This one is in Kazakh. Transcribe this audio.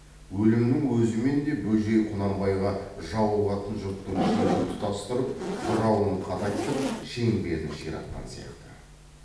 өлімнің өзімен де бөжей құнанбайға жауығатын жұрттың шебін тұтастырып бұрауын қатайтып шеңберін ширатқан сияқты